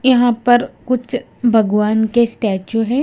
यहां पर कुछ भगवान के स्टैचू है।